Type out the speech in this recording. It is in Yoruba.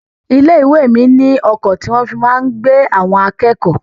Ilé-ìwé mi ní ọkọ̀ tí wọ́n fi máa ń gbé àwọn akẹ́kọ̀ọ́.